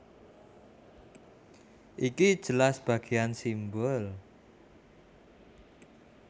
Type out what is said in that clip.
Iki jelas bagéan simbol